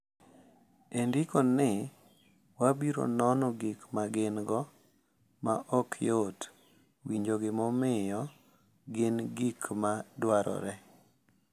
E ndiko ni, wabiro nono gik ma gin-go ma ok yot, winjo gimomiyo gin gik ma dwarore,